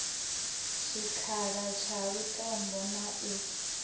tshikhala tsha lutombo na u